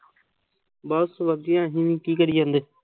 ਬਹੁਤ ਵਧੀਆ ਜੀ। ਕੀ ਕਰੀ ਜਾਂਦੇ।